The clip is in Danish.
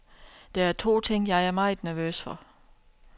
Der er to ting, jeg er meget nervøs for.